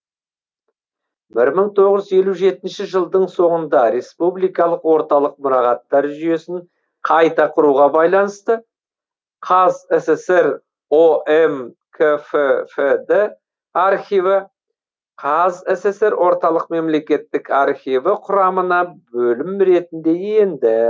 бір мың тоғыз жүз елу жетінші жылдың соңында республикалық орталық мұрағаттар жүйесін қайта құруға байланысты қазсср ом кффд архиві қазсср орталық мемлекеттік архиві құрамына бөлім ретінде енді